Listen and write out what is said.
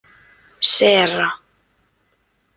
Sera